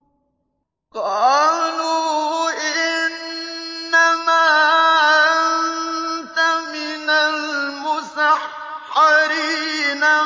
قَالُوا إِنَّمَا أَنتَ مِنَ الْمُسَحَّرِينَ